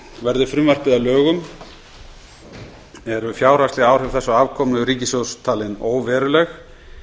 verði frumvarpið að lögum eru fjárhagsleg áhrif þess á afkomu ríkissjóðs talin óveruleg